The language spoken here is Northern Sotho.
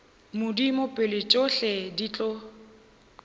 modimo pele tšohle di tlo